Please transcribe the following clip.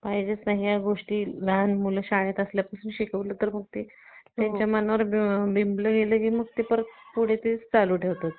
आणि जसं या गोष्टी मुलं लहान शाळेत असल्यापासून शिकवलं तर मग ते त्याच्या मनावर बिंबल गेलं तर तर मग पुढे तेच चालू ठेवतात